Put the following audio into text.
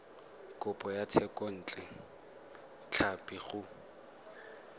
kopo ya thekontle tlhapi go